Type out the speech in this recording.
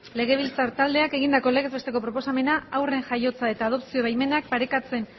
legebiltzar taldeak egindako legez besteko proposamena haurren jaiotza eta adopzio baimenak parekatzen